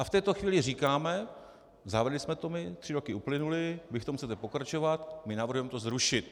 A v této chvíli říkáme: Zavedli jsme to my, tři roky uplynuly, vy v tom chcete pokračovat, my navrhujeme to zrušit.